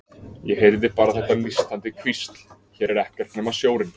Ég heyrði bara þetta nístandi hvísl: Hér er ekkert nema sjórinn.